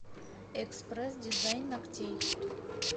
экспресс дизайн ногтей